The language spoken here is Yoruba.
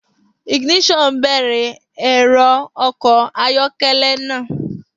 Ignition bẹ̀rẹ̀ ẹ̀rọ ọkọ̀ ayọ́kẹ́lẹ́ náà.